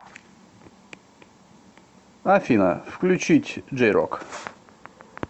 афина включить джей рок